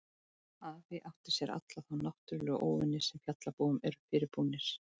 Afi átti sér alla þá náttúrlegu óvini sem fjallabúum eru fyrirbúnir